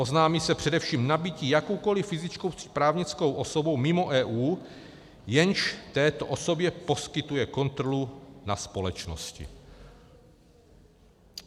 Oznámí se především nabytí jakoukoliv fyzickou či právnickou osobou mimo EU, jenž této osobě poskytuje kontrolu na společnosti.